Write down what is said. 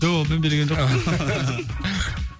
жоқ олмен билеген жоқпын